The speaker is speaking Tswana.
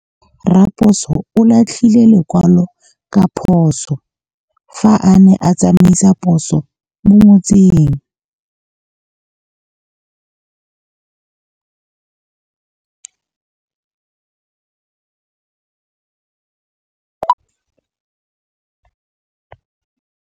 Raposo o latlhie lekwalô ka phosô fa a ne a tsamaisa poso mo motseng.